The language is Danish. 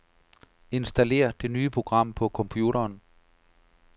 Installér det nye program på computeren.